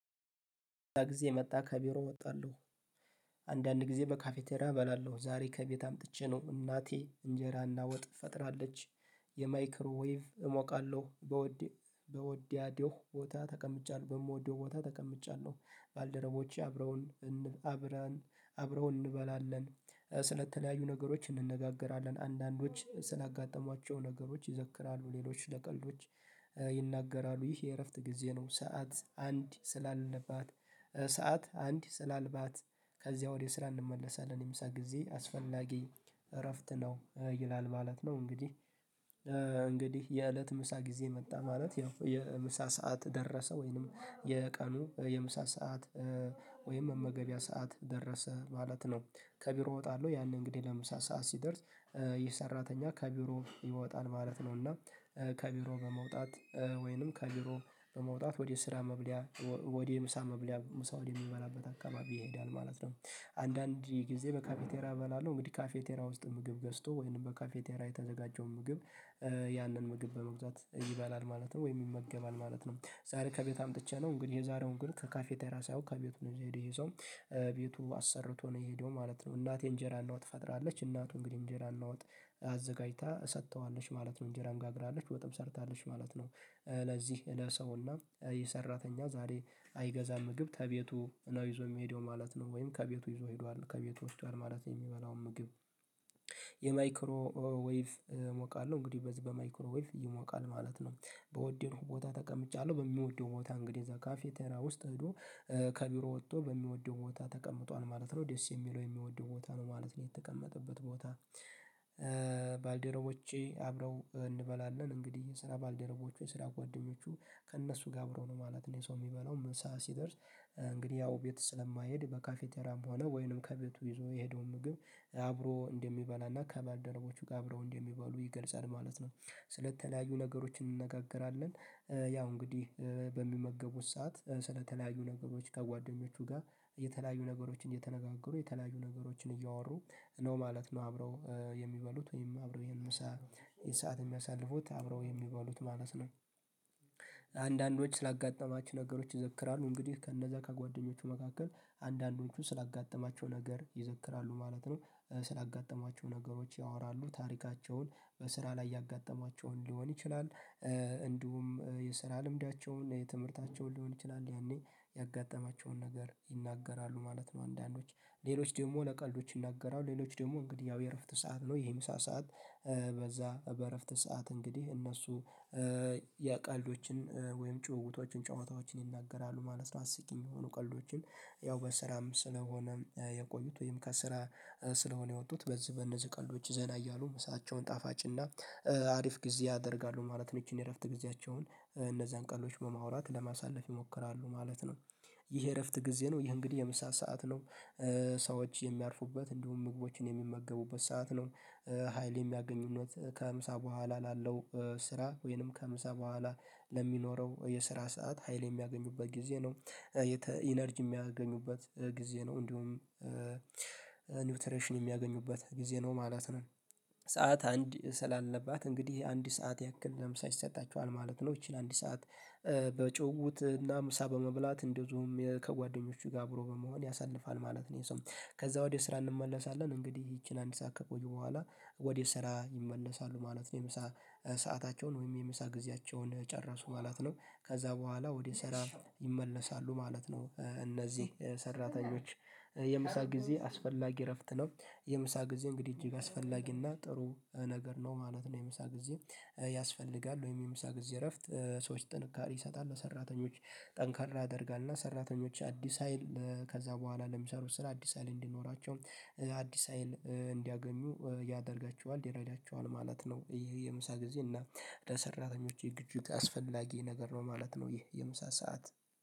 ጊዜ መጣ ከቢሮ እወጣለሁ አንዳንድ ጊዜ በካፌቴሪያ እበላለሁ ዛሬ ከቤት አምጥቼ ነው እናቴ እንጀራና ወጥ ፈጥራለች፤ የማይክሮዌቭ እሞቃለሁ በወዲ በወዲያዲዮ ቦታ ተቀምጫለሁ በምወደው ቦታ ተቀምጫለሁ ባልደረቦቼ አብረውን አብረውን እንበላለን ስለተለያዩ ነገሮች እንነጋገራለን አንዳንዶች ስላጋጠሟቸው ነገሮች ይዘክራሉ፤ ሌሎች ለቀልዶች ይናገራሉ ይህ የእረፍት ጊዜ ነው ሰዓት አንድ ስላለባት ሰዓት አንድ ስላልባት ስራ እንመለሳለን የምሳ ጊዜ አስፈላጊ እረፍት ነው ይላል ማለት ነው እንግዲህ እንግዲህ የእለት ምሳ ጊዜ መጣ ማለት ያው የምሳ ሰዓት ደረሰ ወይንም የቀኑ የምሳ ሰዓት ወይም የመመገቢያ ሰዓት ደረሰ ማለት ነው፤ ከቢሮ እወጣለሁ ያንን እንግዲህ ለምሳ ሰዓት ሲደርስ ይህ ሰራተኛ ከቢሮ ይወጣል ማለት ነው እና ከቢሮ በመውጣት ወይንም ከቢሮ በመውጣት ወደ ስራ መብለያ ወደ ምሳ መብለያ ምሳ ወደ የሚበላበት አካባቢ ይሄዳል ማለት ነው አንዳንድ ጊዜ በካፌቴራ እበላለሁ እንግዲህ ካፌቴራ ውስጥ ምግብ ገዝቶ ወይንም በካፌቴራ የተዘጋጀው ምግብ ያንን ምግብ በመግዛት ይበላል ማለት ነው ወይም ይመገባል ማለት ነው ዛሬ ከቤት አምጥቼ ነው እንግዲህ የዛሬውን ግን ከካፌ ቴራ ሳያውቅ ከቤቱ ነው የሄደው ይሄ ሰው ቤቱ አሰርቶ ነው የሄደው ማለት ነው እናቴ እንጀራን ነው ትፈጥራለች እንግዲህ እንጀራን ለውጥ አዘጋጅታ ሰጥተዋለች ማለት ነው እንጀራን ጋግራለች በጣም ሰርታለች ማለት ነው፤ ለዚህ ለሰውና የሰራተኛ ዛሬ አይገዛም ምግብ ከቤቱ ነው ይዞ የሚሄደው ማለት ነው ወይም ከቤቱ ይዞ ሄዷል ከቤቱ ወስዷል ማለት የሚበላው ምግብ የማይክሮ ዌቭ እሞቃለሁ እንግዲህ በዚህ በማይክሮ ዌቭ ይሞቃል ማለት ነው በወደው ቦታ ተቀምጫለሁ በሚወደው ቦታ እንግዲህ እዛ ካፌቴራ ውስጥ እሄዶ ከቢሮ ወጥቶ በሚወደው ቦታ ተቀምጧል ማለት ነው ደስ የሚለው የሚወደው ቦታ ነው ማለት ነው የተቀመጠበት ቦታ ባልደረቦቼ አብረው እንበላለን እንግዲህ የስራ ባልደረቦቹ የስራ ጓደኞቹ ከእነሱ ጋር አብሮ ነው ማለት ነው የሰው የሚበላው ምሳ ሰዓት ሲደርስ እንግዲህ ያው ቤት ስለማይሄድ በካፌቴራም ሆነ ወይንም ከቤቱ ይዞ የሄደውን ምግብ አብሮ እንደሚባል እና ከባደረጎቹ ጋር አብረው እንደሚባሉ ይገልጻል ማለት ነው። ስለተለያዩ ነገሮች እንነጋገራለን ያው እንግዲህ በሚመገቡት ሰዓት ስለተለያዩ ነገሮች ከጓደኞቹ ጋር የተለያዩ ነገሮችን እየተነጋገሩ የተለያዩ ነገሮችን እያወሩ ነው ማለት ነው አብረው የሚበሉት ወይም አብረው ይሄን ምሳ ሰዓት የሚያሳልፉት አብረው የሚባሉት ማለት ነው አንዳንዶች ስላጋጠማች ነገሮች ይዘክራሉ እንግዲህ ከነዛ ከጓደኞቹ መካከል አንዳንዶቹ ስላጋጠማቸው ነገር ይዘክራሉ ማለት ነው ስላጋጠማቸው ነገሮች ያወራሉ ታሪካቸውን በስራ ላይ ያጋጠማቸውን ሊሆን ይችላል እንዲሁም የስራ ልምዳቸውን የትምህርታቸውን ሊሆን ይችላል ያኔ ያጋጠማቸውን ነገር ይናገራሉ ማለት ነው አንዳንዶች ሌሎች ደግሞ ለቀልዶች ይናገራል ሌሎች ደግሞ እንግዲህ ያው የእረፍት ሰዓት ነው የምሳ ሰዓት በዛ በእረፍት ሰዓት እንግዲህ እነሱ ያ ቀልዶችን ወይም ጩኸቶችን ጨዋታዎችን ይናገራሉ ማለት ነው አስቂኝ የሆኑ ቀልዶችን ያው በስራም ስለሆነ የቆዩት ወይም ከስራ ስለሆነ የወጡት በዚህ በነዚህ ቀልዶች ዘና እያሉ ምሳቸውን ጣፋጭና አሪፍ ጊዜ ያደርጋሉ ማለት ነው ይቺን የእረፍት ጊዜያቸውን እነዚህን ቀልዶች በማውራት ለማሳለፍ ይሞክራሉ ማለት ነው። ይህ የእረፍት ጊዜ ነው ይህ እንግዲህ የምሳ ሰዓት ነው ሰዎች የሚያርፉበት እንዲሁም ምግቦችን የሚመገቡበት ሰዓት ነው፤ ሀይል የሚያገኙነት ከሀምሳ በኋላ ላለው ስራ ወይንም ከምሳ በኋላ ለሚኖረው የስራ ሰዓት ሀይል የሚያገኙበት ጊዜ ነው፤ ኢነርጂ የሚያገኙበት ጊዜ ነው እንዲሁም እንደውም ኒውትሬሽን የሚያገኙበት ጊዜ ነው ማለት ነው ሰዓት አንድ ስላለባት እንግዲህ አንድ ሰዓት ያክል ለምሳ ይሰጣቸዋል ማለት ነው እቺን አንድ ሰዓት በጩኸት እና ምሳ በመብላት እንደውም ከጓደኞቹ ጋር አብሮ በመሆን ያሳልፋል ማለት ነው ይሄ ሰው ከዛ ወዲያ ስራ እንመለሳለን እንግዲህ ይቺን አንድ ሰዓት ከቆዩ በኋላ ወደ ስራ ይመለሳሉ ማለት ነው የምሳ ሰአታቸውን ወይም የምሳ ጊዜያቸውን ጨረሱ ማለት ነው ከዛ በኋላ ወደ ስራ ይመለሳሉ ማለት ነው እነዚህ ሰራተኞች፤ የምሳ ጊዜ አስፈላጊ እረፍት ነው የምሳ ጊዜ እንግዲህ እጅግ አስፈላጊና ጥሩ ነገር ነው ማለት ነው የምሳ ጊዜ ያስፈልጋል ወይም የምሳ ጊዜ እረፍት ሰዎች ጥንካሬ ይሰጣሉ ሰራተኞች ጠንካራ ያደርጋል እና ሰራተኞች አዲስ ሀይል ከዛ በኋላ ለሚሰሩት ስራ አዲስ ሀይል እንዲኖራቸው፤ አዲስ ሀይል እንዲያገኙ ያደርጋቸዋል ይረዳቸዋል ማለት ነው ይሄ የምሳ ጊዜ እና ለሰራተኞች የዝግጁት አስፈላጊ ነገር ነው ማለት ነው ይህ የምሳ ሰዓት